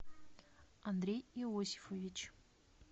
андрей иосифович